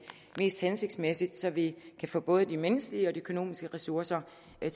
mest hensigtsmæssigt så vi kan få både de menneskelige og økonomiske ressourcer